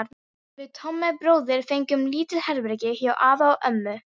Við Tommi bróðir fengum lítið herbergi hjá afa og ömmu.